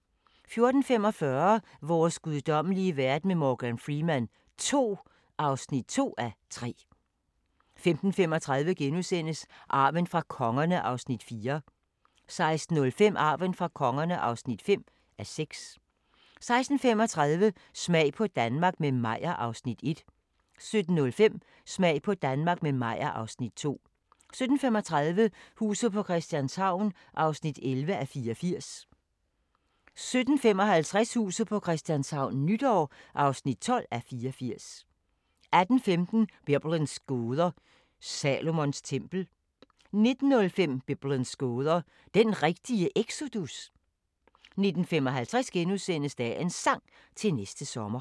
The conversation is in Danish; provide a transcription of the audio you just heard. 14:45: Vores guddommelige verden med Morgan Freeman II (2:3) 15:35: Arven fra kongerne (4:6)* 16:05: Arven fra kongerne (5:6) 16:35: Smag på Danmark – med Meyer (Afs. 1) 17:05: Smag på Danmark – med Meyer (Afs. 2) 17:35: Huset på Christianshavn (11:84) 17:55: Huset på Christianshavn - nytår (12:84) 18:15: Biblens gåder – Salomons tempel 19:05: Biblens gåder – den rigtige exodus? 19:55: Dagens Sang: Til næste sommer *